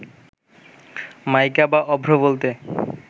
মাইকা বা অভ্র বলতে